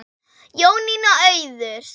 Jónína Auður.